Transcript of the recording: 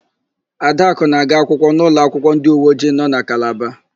Adakụ na-aga akwụkwọ n'ụlọakwụkwọ ndịuweojii nọ na Kalaba.